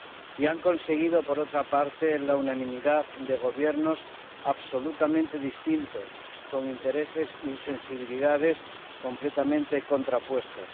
Y han conseguido, por otra parte, la unanimidad de gobiernos absolutamente distintos, con intereses y sensibilidades completamente contrapuestos.